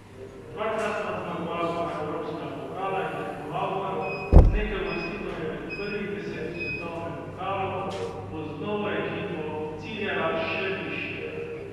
Dvakratna zmagovalka evropskega pokala in tekmovalka z nekaj uvrstitvami med prvih deset v svetovnem pokalu bo z novo ekipo ciljala še višje.